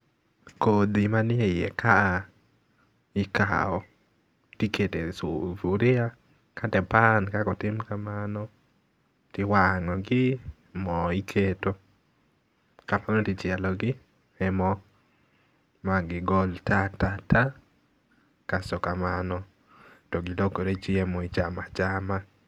Kodhi manie iye ka a ikaw, tikete sufuria kata e pan kaka otim kamano, tiwang'o gi, mo iketo tichielogi e mo magigol ta ta ta, kasto kamano, togilokore chiemo ichama chama